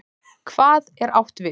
HVAÐ er átt við?